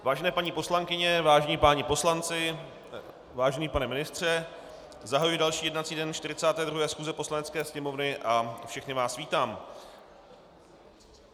Vážené paní poslankyně, vážení páni poslanci, vážený pane ministře, zahajuji další jednací den 42. schůze Poslanecké sněmovny a všechny vás vítám.